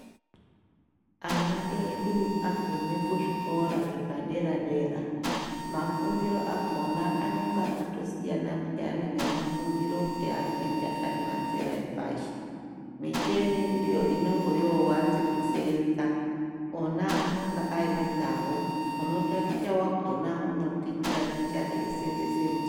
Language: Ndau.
Ana edu agume kuzvikora zvepadera-dera ,mafundiro akhona anonga atosiyana pheyani ngemafundiro eanoita ari mazera epashi. Micheni ndiyo inongo yowanze kuseenza. Ona anonga aine dzavo, unotaticha wakhona unotitaticha eiseenzese mich....